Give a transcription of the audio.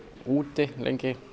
úti lengi